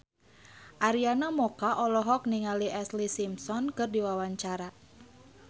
Arina Mocca olohok ningali Ashlee Simpson keur diwawancara